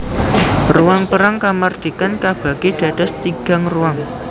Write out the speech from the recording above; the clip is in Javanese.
Ruang Perang Kamardikan kabagi dados tigang ruang